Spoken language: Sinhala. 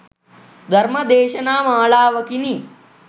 ධර්ම දේශනා මාලාවකිනි.